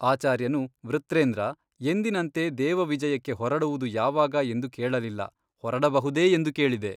ಆಚಾರ್ಯನು ವೃತ್ರೇಂದ್ರ ಎಂದಿನಂತೆ ದೇವವಿಜಯಕ್ಕೆ ಹೊರಡುವುದು ಯಾವಾಗ ಎಂದು ಕೇಳಲಿಲ್ಲ ಹೊರಡಬಹುದೇ ಎಂದು ಕೇಳಿದೆ.